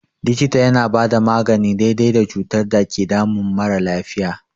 Likita yana bada magani daidai da cutar da ke damun mara lafiya.